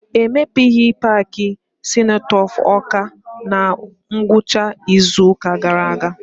E mepeghị paaki senotaf Ọka na ngwụcha izu ụka gaara aga.